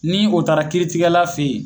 Ni o taara kiiritigɛla fe yen